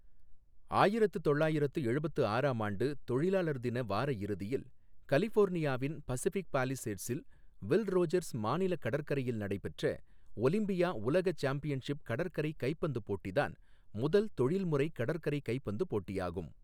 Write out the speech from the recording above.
ஆயிரத்து தொள்ளாயிரத்து எழுபத்து ஆறாம் ஆண்டு தொழிலாளர் தின வார இறுதியில் கலிஃபோர்னியாவின் பசிஃபிக் பாலிசேட்ஸில் வில் ரோஜர்ஸ் மாநில கடற்கரையில் நடைபெற்ற ஒலிம்பியா உலக சாம்பியன்ஷிப் கடற்கரை கைப்பந்து போட்டி தான் முதல் தொழில்முறை கடற்கரை கைப்பந்து போட்டியாகும்.